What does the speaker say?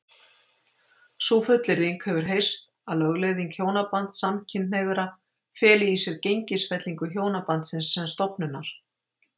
Sú fullyrðing hefur heyrst að lögleiðing hjónabands samkynhneigðra feli í sér gengisfellingu hjónabandsins sem stofnunar.